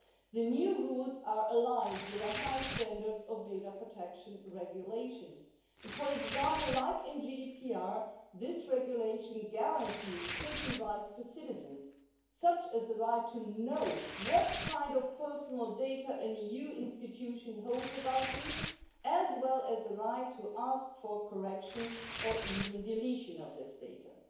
The new rules are aligned with high data protection regulation standards and, for example, like in GDPR, this regulation guarantees certain rights to citizens, such as the right to know what kind of personal data an EU institution holds about you, as well as the right to ask for the correction or even deletion of those data.